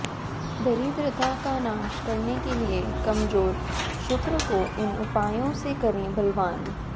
दरिद्रता का नाश करने के लिए कमजोर शुक्र को इन उपायों से करें बलवान